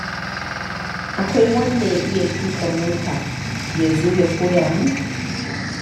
Akwai wanda ya iya tuƙa mota ya zo ya koya min?